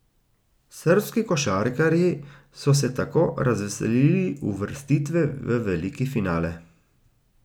Srbski košarkarji so se tako razveselili uvrstitve v veliki finale.